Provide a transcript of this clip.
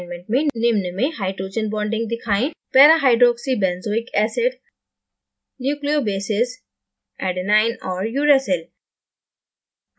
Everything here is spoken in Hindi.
assignment में निम्न में hydrogen bonding दिखाएं